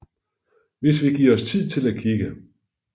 Hvis vi giver os tid til at kigge